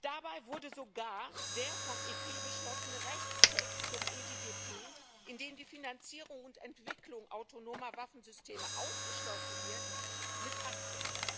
Dabei wurde sogar der vom EP beschlossene Rechtstext zum EDDP, in dem die Finanzierung und Entwicklung autonomer Waffensysteme ausgeschlossen wird, missachtet.